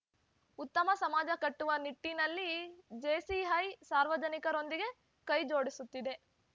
ಉತ್ತಮ ಸಮಾಜ ಕಟ್ಟುವ ನಿಟ್ಟಿನಲ್ಲಿ ಜೇಸಿಐ ಸಾರ್ವಜನಿಕರೊಂದಿಗೆ ಕೈ ಜೋಡಿಸುತ್ತಿದೆ